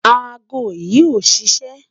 Àágọ̀̀ yi ò ṣiṣẹ̣